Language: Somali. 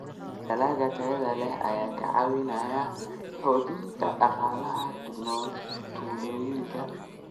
Dalagga tayada leh ayaa ka caawiya xoojinta dhaqaalaha tuulooyinka.